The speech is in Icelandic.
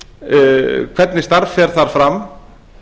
til hvernig starf fer þar fram